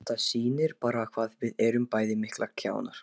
Þetta sýnir bara hvað við erum bæði miklir kjánar.